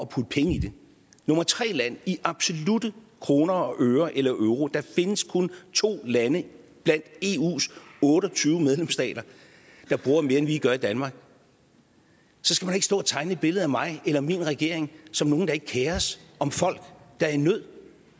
putte penge i det nummer tre land i absolutte kroner og øre eller euro der findes kun to lande blandt eus otte og tyve medlemsstater der bruger mere end vi gør i danmark så skal man ikke stå og tegne et billede af mig eller min regering som nogen der ikke kerer sig om folk der er i nød